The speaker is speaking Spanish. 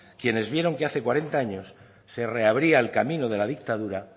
quienes vieron que hace cuarenta años se reabría el camino de la dictadura